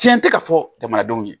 Fiɲɛ tɛ ka fɔ jamanadenw ye